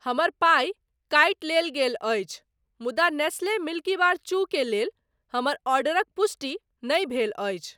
हमर पाइ कटि लेल गेल अछि मुदा नेस्ले मिल्कीबार चू के लेल हमर ऑर्डरक पुष्टि नहि भेल अछि।